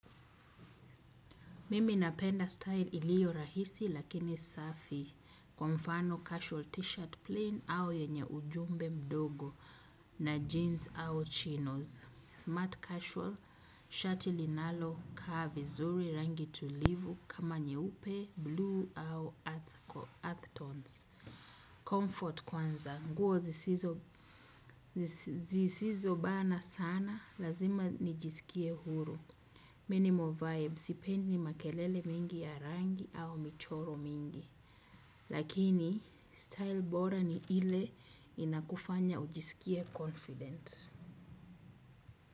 Mimi napenda style ilio rahisi lakini safi. Kwa mfano casual t shirt plain au yenye ujumbe mdogo na jeans au chinos. Smart casual, shati linalo, ka vizuri rangi tulivu kama nyeupe, bluu au earth tones. Comfort kwanza, nguo zisizo bana sana, lazima nijisikie huru. Minimal vibes, sipendi makelele mengi ya rangi au michoro mingi. Lakini, style bora ni ile inakufanya ujisikie confident.